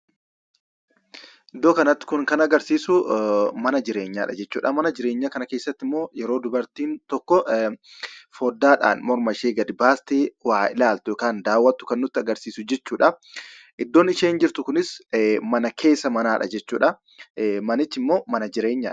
Iddoo kanatti kun kan agarsiisuu, mana jireenyaadha jechuudha. Mana jireenyaa kana keessattimmoo yeroo dubartiin tokko fooddaadhan mormashee gadi baaftee waa ilaaltu kan daawwattu kan nutti agarsiisu jechuudhaa. Iddoon isheen jirtu kunis mana keessa manaadha jechuudha. Manichimmoo mana jireenyaadha.